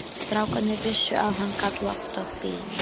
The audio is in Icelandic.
Strákarnir vissu að hann gat loftað bílum.